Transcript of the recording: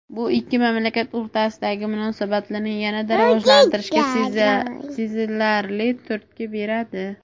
bu ikki mamlakat o‘rtasidagi munosabatlarni yanada rivojlantirishga sezilarli turtki beradi.